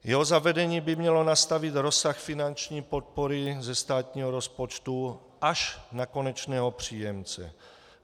Jeho zavedení by mělo nastavit rozsah finanční podpory ze státního rozpočtu až na konečného příjemce.